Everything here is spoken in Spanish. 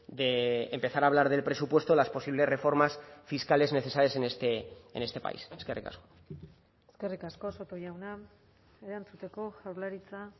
de empezar a hablar del presupuesto las posibles reformas fiscales necesarias en este país eskerrik asko eskerrik asko soto jauna erantzuteko jaurlaritza